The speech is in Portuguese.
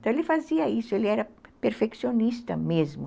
Então ele fazia isso, ele era perfeccionista mesmo.